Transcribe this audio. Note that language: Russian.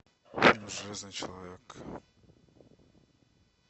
железный человек